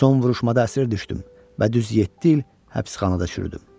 Son vuruşmada əsir düşdüm və düz yeddi il həbsxanada çürüdüm.